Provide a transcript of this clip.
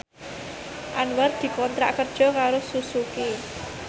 Anwar dikontrak kerja karo Suzuki